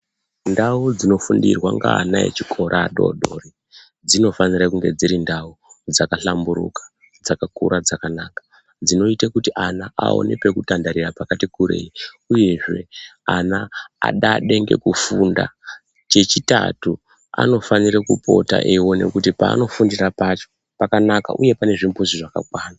Ndau dzinofundirwa ngeana echikora adodori dzinofanira kunge dziri ndau dzakahlamburuka. Dzakakura, dzakanaka kuitira kuti ana aone pekutandarira pakati kurei. Uyezve ana adade ngekufunda. Chechitatu anofana kupota eiona kuti paanofundira pacho pakanaka uye pane zvimbuzi zvakakwana.